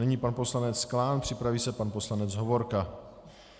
Nyní pan poslanec Klán, připraví se pan poslanec Hovorka.